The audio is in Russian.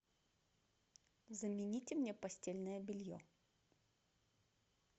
замените мне постельное белье